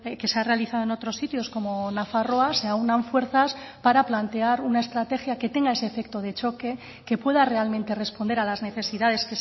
que se ha realizado en otros sitios como nafarroa se aúnan fuerzas para plantear una estrategia que tenga ese efecto de choque que pueda realmente responder a las necesidades